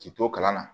K'i to kalan na